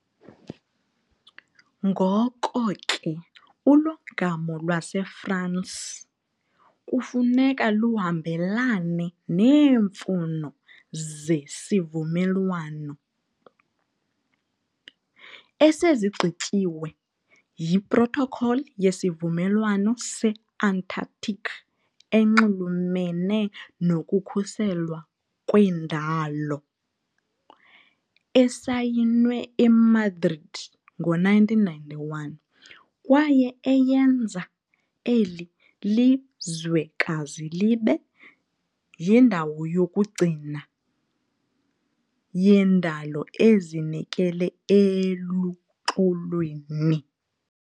Ngoko ke ulongamo lwaseFransi kufuneka luhambelane neemfuno zesivumelwano, esigqitywe yiProtocol yeSivumelwano se-Antarctic enxulumene nokukhuselwa kwendalo esayinwe eMadrid ngo -1991 kwaye eyenza eli lizwekazi libe "yindawo yokugcina yendalo ezinikele eluxolweni."